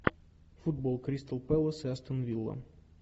футбол кристал пэлас и астон вилла